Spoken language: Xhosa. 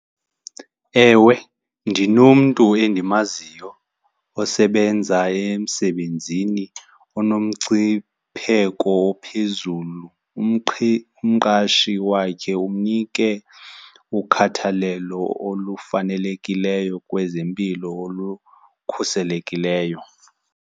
Ewe, ndinomntu endimaziyo osebenza emsebenzini unomngcipheko ophezulu. Umqashi wakhe umnike ukhathalelo olufanelekileyo kwezempilo olukhuselekileyo.